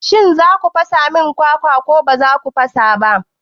Shin za ku fasa min kwakwa ko ba za ku fasa ba?